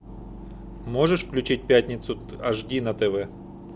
можешь включить пятницу ашди на тв